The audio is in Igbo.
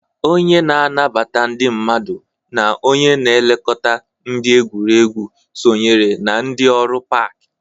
Onye na-anabata ndị mmadụ na onye na-elekọta ndị na-egwuriegwu sonyere na ndị ọrụ pak.